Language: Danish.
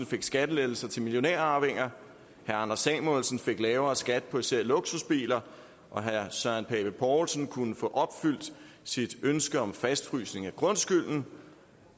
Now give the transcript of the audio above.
fik skattelettelser til millionærarvinger herre anders samuelsen fik lavere skat på især luksusbiler og herre søren pape poulsen kunne få opfyldt sit ønske om en fastfrysning af grundskylden